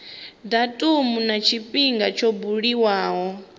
datumu na tshifhinga tsho buliwaho